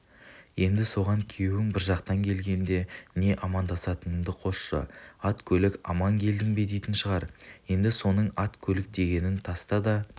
енді соған күйеуің бір жақтан келгенде не амандасатыныңды қосшы ат-көлік аман келдің бе дейтін шығар енді соның ат-көлік дегенін таста да